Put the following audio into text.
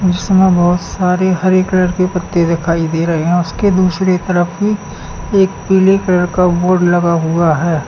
इसमें बहोत सारी हरे कलर की पत्ते दिखाई दे रहे हैं उसके दूसरी तरफ भी एक पीले कलर का बोर्ड लगा हुआ है।